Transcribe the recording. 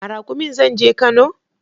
A Raƙumin zan je Kano